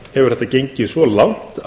þetta raunar gengið svo langt